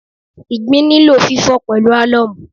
Ìgbín nílò fífò pẹ̀lú álọ́ọ̀mù